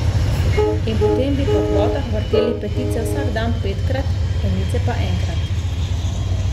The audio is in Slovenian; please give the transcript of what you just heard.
In potem bi po kvotah vrteli petice vsak dan petkrat, enice pa enkrat.